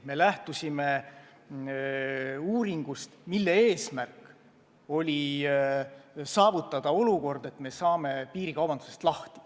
Me lähtusime uuringust, mille eesmärk oli saavutada olukord, et me saame piirikaubandusest lahti.